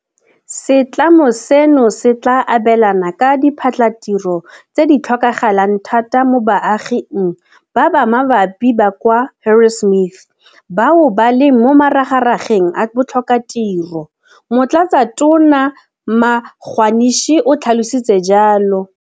Setlamo seno se tla abelana ka diphatlhatiro tse di tlhokagalang thata mo baaging ba ba mabapi ba kwa Harrismith bao ba leng mo maragarageng a botlhokatiro, Motlatsatona Magwanishe o tlhalositse jalo.